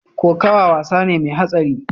Kokawa wasa ne mai hatsari.